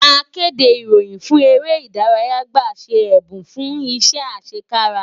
Akéde ìròyìn fún eré ìdárayá gba ṣe ẹ̀bùn fún iṣẹ́ àṣẹkára